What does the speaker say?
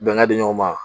Bɛnkan di ɲɔgɔn ma